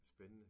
Spændende